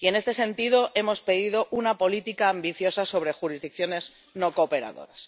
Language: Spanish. En este sentido, hemos pedido una política ambiciosa sobre jurisdicciones no cooperadoras.